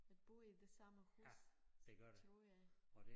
At bo i det samme hus tror jeg